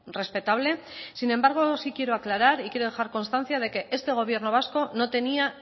respetable sin embargo sí quiero aclarar y quiero dejar constancia de que este gobierno vasco no tenía